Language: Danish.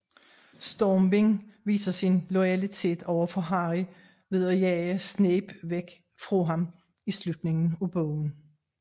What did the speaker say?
Stormvind viser sin loyalitet overfor Harry ved at jage Snape væk fra ham i slutningen af bogen